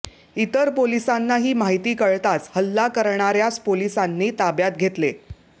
इतर पोलिसांना ही माहिती कळताच हल्ला करणाऱ्यास पोलिसांनी ताब्यात घेतले